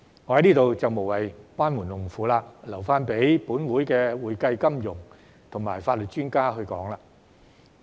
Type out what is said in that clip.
我在此也無謂班門弄斧，留待本會的會計、金融及法律專家評論。